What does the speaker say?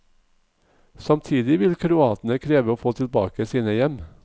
Samtidig vil kroatene kreve å få tilbake sine hjem.